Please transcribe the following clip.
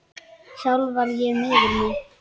Sjálf var ég miður mín.